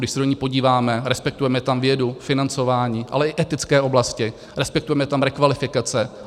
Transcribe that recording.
Když se do ní podíváme, respektujeme tam vědu, financování, ale i etické oblasti, respektujeme tam rekvalifikace.